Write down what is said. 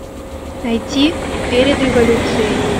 найти перед революцией